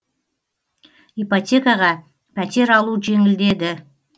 ипотекаға пәтер алу жеңілдеді